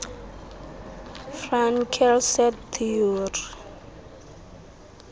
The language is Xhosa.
fraenkel set theory